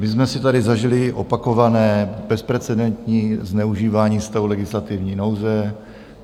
My jsme si tady zažili opakované bezprecedentní zneužívání stavu legislativní nouze.